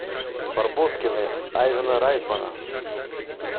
барбоскины айвена райтмана